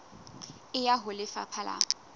e ya ho lefapha la